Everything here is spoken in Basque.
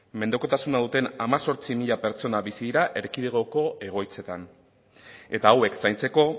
mendekotasuna duten hemezortzi mila pertsona bizi dira erkidegoko egoitzetan eta hauek zaintzeko